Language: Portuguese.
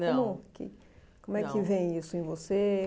Como Não que como é Não que vem isso em você?